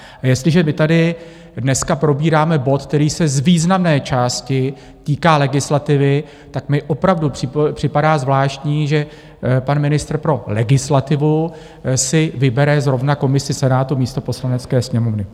A jestliže my tady dneska probíráme bod, který se z významné části týká legislativy, tak mi opravdu připadá zvláštní, že pan ministr pro legislativu si vybere zrovna komisi Senátu místo Poslanecké sněmovny.